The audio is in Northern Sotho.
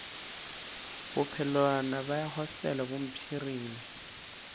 bophelwana bja hostele bo mpshirile